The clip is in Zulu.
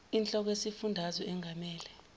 inhloko yesifundazwe engamele